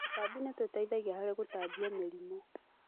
Tũtambi nitũteithagia harĩgũtambia mĩrimũ